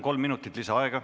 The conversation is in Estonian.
Kolm minutit lisaaega.